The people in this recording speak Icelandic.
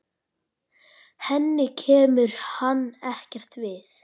Henni kemur hann ekkert við.